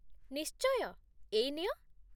ନିଶ୍ଚୟ! ଏଇ ନିଅ ।